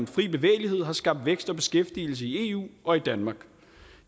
fri bevægelighed har skabt vækst og beskæftigelse i eu og danmark